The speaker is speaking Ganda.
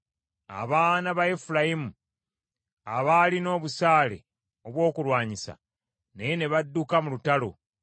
Abaana ba Efulayimu abaalina obusaale obw’okulwanyisa, naye ne badduka mu lutalo,